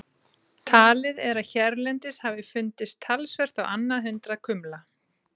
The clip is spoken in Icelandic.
Talið er að hérlendis hafi fundist talsvert á annað hundrað kumla.